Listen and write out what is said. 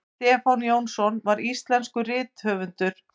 stefán jónsson var íslenskur rithöfundur